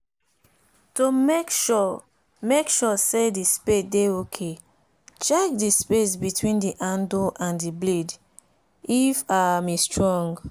to make sure make sure say the spade dey ok check the space between the handle and the blade if um e strong